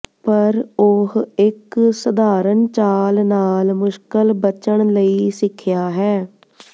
ਪਰ ਉਹ ਇੱਕ ਸਧਾਰਨ ਚਾਲ ਨਾਲ ਮੁਸ਼ਕਲ ਬਚਣ ਲਈ ਸਿੱਖਿਆ ਹੈ